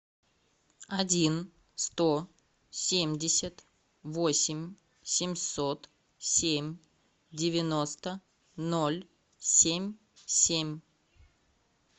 один сто семьдесят восемь семьсот семь девяносто ноль семь семь